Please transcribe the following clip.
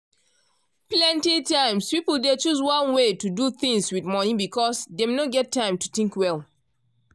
plenty times people dey choose one way to do things with money because dem no get time to think well.